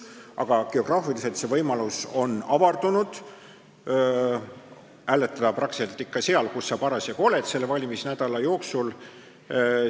Aga geograafiliselt on see võimalus avardunud, hääletada saad sa praktiliselt seal, kus sa parasjagu selle valimisnädala jooksul oled.